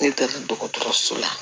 Ne taara dɔgɔtɔrɔso la